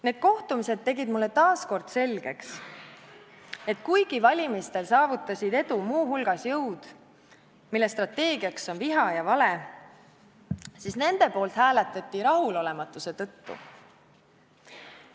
Need kohtumised tegid mulle taas kord selgeks, et kuigi valimistel saavutasid edu muu hulgas jõud, mille strateegiaks on viha ja vale, siis nende poolt hääletati rahulolematuse tõttu.